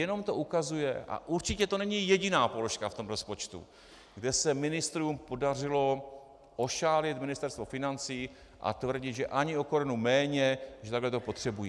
Jenom to ukazuje, a určitě to není jediná položka v tom rozpočtu, kde se ministrům podařilo ošálit Ministerstvo financí a tvrdit, že ani o korunu méně, že takhle to potřebují.